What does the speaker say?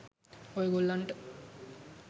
ඔය ගොල්ලන්ට